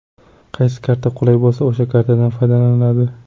Qaysi karta qulay bo‘lsa, o‘sha kartadan foydalaniladi.